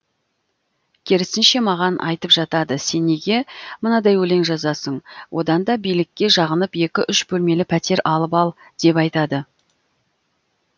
керісінше маған айтып жатады сен неге мынадай өлең жазасың одан да билікке жағынып екі үш бөлмелі пәтер алып ал деп айтады